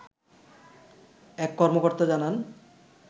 এক কর্মকর্তা জানান